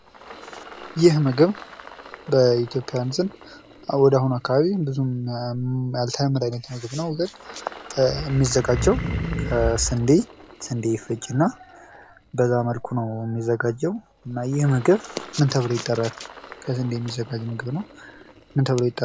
ይህ ምግብ በኢትዮጵያውያን ዘንድ ወደ አሁን አካባቢ ብዙም ያልተለመደ አይነት ምግብ ነው ግን የሚዘጋጀው ከስንዴ ፥ ስንዴ ይፈጭና በዛ መልኩ ነው የሚዘጋጀው እና ይህ ምግብ ምን ተብሎ ይጠራል?